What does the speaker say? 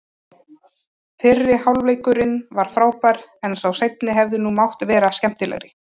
Fyrri hálfleikurinn var frábær, en sá seinni hefði nú mátt vera skemmtilegri.